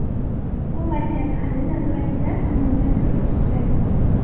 Bu vaziyat hali nazoratchilar tomonidan ko‘rib chiqiladi”.